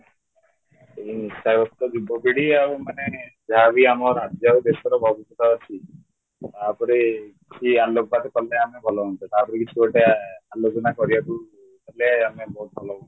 ଏଇ ନିଶା ଗ୍ରସ୍ତ ଯୁବ ପିଢ଼ି ଆଉ ମାନେ ଯାହା ବି ଆମ ରାଜ୍ୟ ଆଉ ଦେଶର ଭବିଷ୍ୟତ ଅଛି ତା ଉପରେ କିଛି ଆଲୋକପାତ କଲେ ଆମେ ଭଲ ହୁଅନ୍ତା ତା ଉପରେ କିଛି ଗୋଟେ ଆଲୋଚନା କରିବାକୁ କଲେ ଆମେ ବହୁତ ଭଲ ହୁଅନ୍ତା